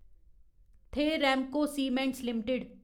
थे Ramco Cements limited